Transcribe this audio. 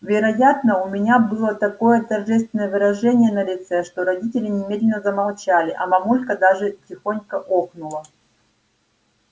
вероятно у меня было такое торжественное выражение на лице что родители немедленно замолчали а мамулька даже тихонько охнула